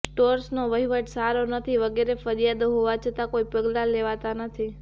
સ્ટોર્સનો વહીવટ સારો નથી વગેરે ફરિયાદો હોવા છતાં કોઈ પગલાં લેવાતાં નથી